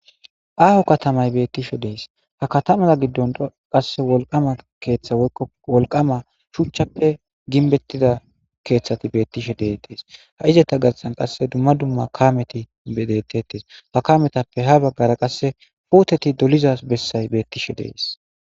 Aaho katamay bettishe dees ha katamaza giddon qasse wolqama keeththa woykko wolqama shuchchappe ginbettida keeththati beettishe dee dees ha izeta gassan qasse dumma dumma kameti dettetes ha kametappe ha baggara qasse pooteti doliza bessay beettishe dees.